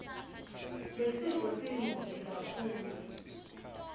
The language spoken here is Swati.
lesifo siyingoti kakhulu